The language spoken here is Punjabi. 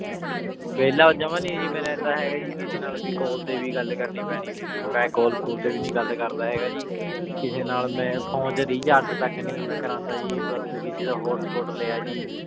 ਵੀਲਾ ਜਮਾ ਨਾਈ ਜੀ ਮੈਂ ਰਹੰਦਾ ਜੀ ਕਿਸੇ ਨਾਲ ਵੀ ਕਾਲ ਤੇ ਗਲ ਕਰਨੀ ਪੇਨੀ ਮੈਂ ਕਾਲ ਕੋਲ ਤੇ ਵੀ ਨਾਈ ਗਲ ਕਰਦਾ ਹੇਗਾ ਜੀ ਕਿਸੇ ਨਾਲ ਮੈਂ phone ਚ recharge ਤਕ ਮੈਂ ਨਾਈ ਕਰਾਂਦਾ ਜੀ ਬਾਸ ਕਿਸੀ ਦਾ hotspot ਲਾਯਾ ਜੀ